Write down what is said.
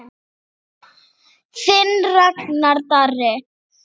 Þinn Ragnar Darri.